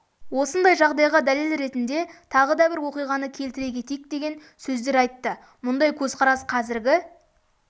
осындай жағдайға дәлел ретінде тағы да бір оқиғаны келтіре кетейік деген сөздер айтты мұндай көзқарас қазіргі